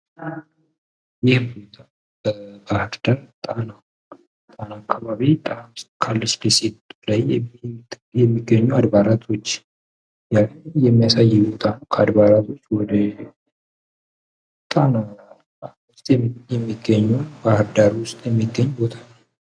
ጉዞ ጀብዱን ያካትታል። ቱሪዝም ኃላፊነት የሚሰማው መሆን አለበት። ስደተኞች ለሀገራቸውና ለአዲሱ ማህበረሰባቸው አስተዋጽኦ ያደርጋሉ።